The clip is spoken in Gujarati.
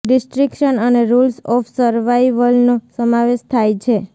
ડિસ્ટ્રક્શન અને રૂલ્સ ઓફ સર્વાઇવલનો સમાવેશ થાય છે